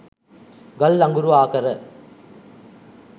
ගල් අඟුරු ආකර